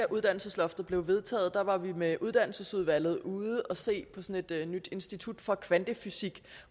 uddannelsesloftet blev vedtaget var vi med uddannelsesudvalget ude at se på sådan et nyt institut for kvantefysik